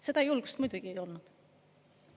Seda julgust muidugi ei olnud.